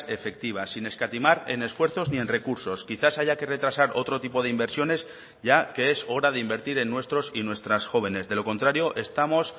efectivas sin escatimar en esfuerzos ni en recursos quizás haya que retrasar otro tipo de inversiones ya que es hora de invertir en nuestros y nuestras jóvenes de lo contrario estamos